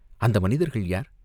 "அந்த மனிதர்கள் யார்?